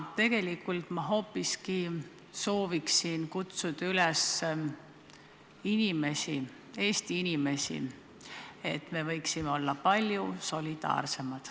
Tegelikult ma hoopiski sooviksin kutsuda üles Eesti inimesi, et me võiksime olla palju solidaarsemad.